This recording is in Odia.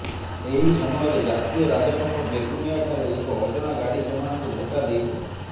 ସେହି ସମୟରେ ଜାତୀୟରାଜପଥ ବେଗୁନିଆ ଠାରେ ଏକ ଅଜଣା ଗାଡ଼ି ସେମାନଙ୍କୁ ଧକ୍କା ଦେଇଥିଲା